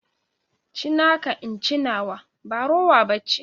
Ci naka in ci nawa, ba rowa ba ce.